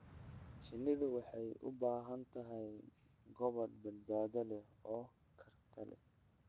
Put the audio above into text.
Shinnidu waxay u baahan tahay gabaad badbaado leh oo khatarta ah.